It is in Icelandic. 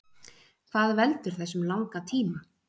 Hvað veldur þessum langa tíma?